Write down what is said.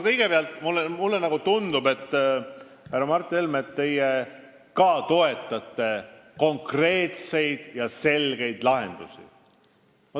Kõigepealt mulle tundub, et ka teie, härra Mart Helme, toetate konkreetseid ja selgeid lahendusi.